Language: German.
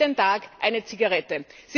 Jeden Tag eine Zigarette.